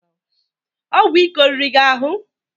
Ọgwụ ike oriri gị ahụ?